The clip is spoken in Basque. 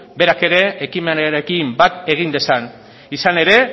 berak ere ekimenarekin bat egin dezan izan ere